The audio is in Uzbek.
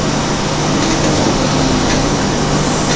Endi esa ular o‘zining normal yo‘liga qaytmoqda.